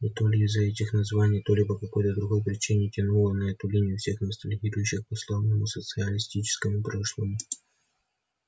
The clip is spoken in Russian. и то ли из-за этих названий то ли по какой-то другой причине тянуло на эту линию всех ностальгирующих по славному социалистическому прошлому